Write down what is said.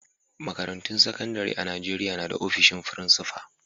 Makarantun sakandare a'Nijeriya na da ofishin frincipa.